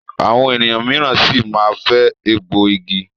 Àwọn ènìyàn míràn sí má fè egbò ìgi.